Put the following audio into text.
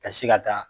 Ka se ka taa